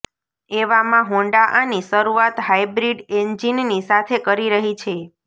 એવામાં હોન્ડા આની શરૂઆત હાઈબ્રીડ એન્જીનની સાથે કરી રહી છે